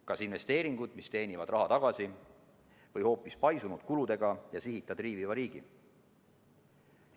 Kas investeeringud, mis teenivad raha tagasi, või hoopis paisunud kuludega ja sihita triiviva riigi?